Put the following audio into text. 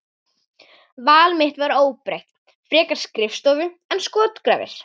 Val mitt var óbreytt, frekar skrifstofu en skotgrafir.